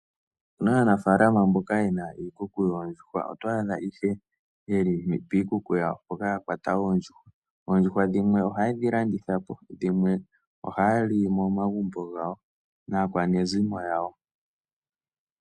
Opu na aanafalama mboka ye na iikuku yoondjuhwa. Oto adha ihe ye li piikuku yawo ya kwata oondjuhwa. Oondjuhwa dhimwe ohaye dhi landitha po dhimwe ohaya li momagumbo gawo naakwanezimo yawo.